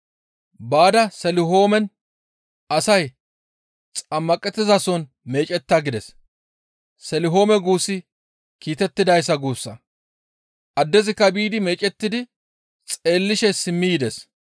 «Baada Selihoomen asay xammaqettizason meecetta» gides. Selihoome guussi kiitettidayssa guussa. Addezikka biidi meecettidi xeellishe simmi yides.